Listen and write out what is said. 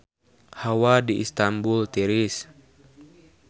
Hawa di Istanbul tiris